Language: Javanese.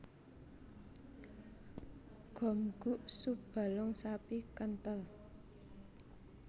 Gomguk sup balung sapi kenthel